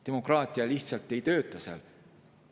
Demokraatia lihtsalt ei tööta seal.